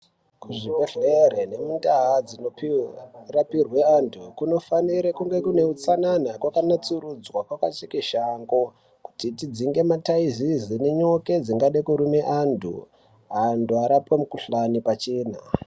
Ku zvi bhedhlere nemu ndau dzino rapirwe antu kunifanire kunge kune utsanana kwaka natsurudzwa kwaka tsika shango kuti dzidzinge ma taizizi ne nyoka dzingade kurume antu antu arape mu kuhlani pachena.